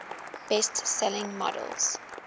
best selling models